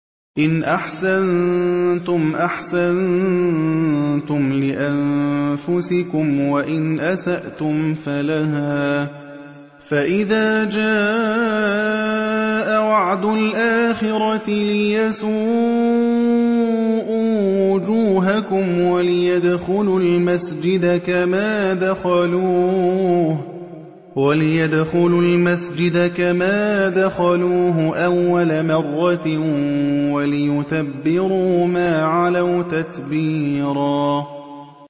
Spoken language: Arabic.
إِنْ أَحْسَنتُمْ أَحْسَنتُمْ لِأَنفُسِكُمْ ۖ وَإِنْ أَسَأْتُمْ فَلَهَا ۚ فَإِذَا جَاءَ وَعْدُ الْآخِرَةِ لِيَسُوءُوا وُجُوهَكُمْ وَلِيَدْخُلُوا الْمَسْجِدَ كَمَا دَخَلُوهُ أَوَّلَ مَرَّةٍ وَلِيُتَبِّرُوا مَا عَلَوْا تَتْبِيرًا